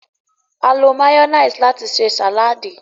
a lo mayonnaise láti se saladi.